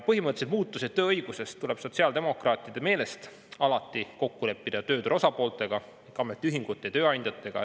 Põhimõttelised muutused tööõigusest tuleb sotsiaaldemokraatide meelest alati kokku leppida ja tööturu osapooltega, samuti ametiühingute ja tööandjatega.